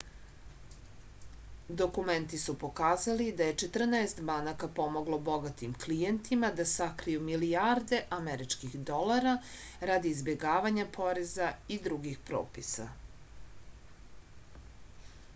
dokumenti su pokazali da je četrnaest banaka pomoglo bogatim klijentima da sakriju milijarde američkih dolara radi izbegavanja poreza i drugih propisa